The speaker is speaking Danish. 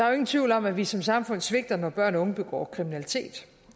jo ingen tvivl om at vi som samfund svigter når børn og unge begår kriminalitet